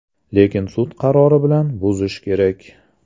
Lekin sud qarori bilan buzish kerak!